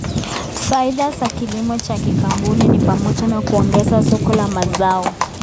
Faida za kilimo cha kikaboni ni pamoja na kuongeza soko la mazao.